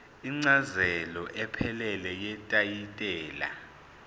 incazelo ephelele yetayitela